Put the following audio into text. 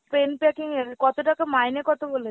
pen packing এর কত টাকা মাইনে কত বলেছে?